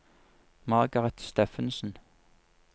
Margareth Steffensen